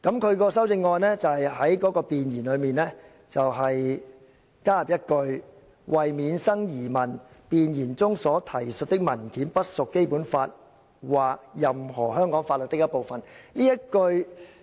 他的修正案建議在弁言加入一句"為免生疑問，弁言中所提述的文件不屬《基本法》或任何香港法律的一部分。